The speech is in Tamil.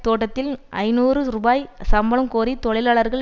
தோட்டத்தில் ஐநூறு ரூபா சம்பளம் கோரி தொழிலாளர்கள்